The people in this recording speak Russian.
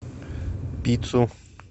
пиццу